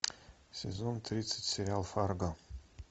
сезон тридцать сериал фарго